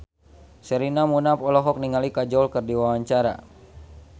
Sherina Munaf olohok ningali Kajol keur diwawancara